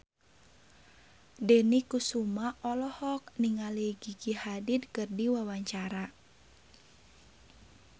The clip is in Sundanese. Dony Kesuma olohok ningali Gigi Hadid keur diwawancara